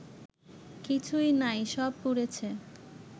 কিছুই নাই সব পুড়েছে